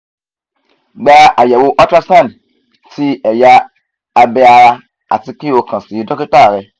gba àyẹ̀wò ultrasound ti ẹ̀yà abe ara àti kí o kan si dókítà rẹ